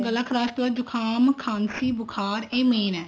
ਗਲਾ ਖਰਾਬ ਤੋਂ ਬਾਅਦ ਖਾਂਸੀ ਜੁਖਾਮ ਬੁਖਾਰ ਇਹ main ਹੈ